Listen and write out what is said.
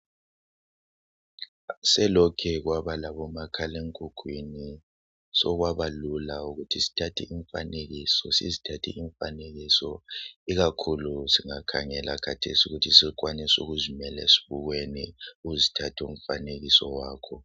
Selokhu kwaba lomakhale mkhukwini sokwabalula ukuthi sithathe imfanekiso sizithathe imfanekiso ikakhulu singakhangela khathesi ukuthi sebekwanisa ukuzimela esibukeni uzithathe umfanekiso wakho.